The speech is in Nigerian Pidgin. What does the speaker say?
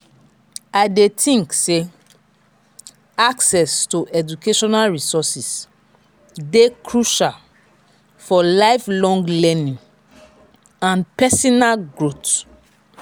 i dey think say access to educational resources dey crucial for lifelong learning and pesinal growth.